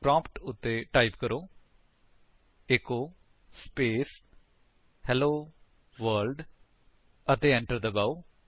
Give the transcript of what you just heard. prompt ਉੱਤੇ type ਕਰੋ160 echo space hello world ਅਤੇ enter ਦਬਾਓ